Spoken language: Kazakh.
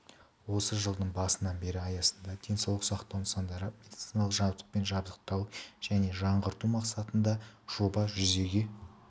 осы жылдың басынан бері аясында денсаулық сақтау нысандарын медициналық жабдықпен жабдықтау және жаңғырту мақсатындаекі жоба жүзеге